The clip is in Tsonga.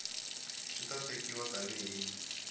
swi ta tekiwa tani hi